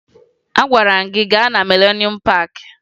Agwara m gị gaa na Mịlenuum Paakị!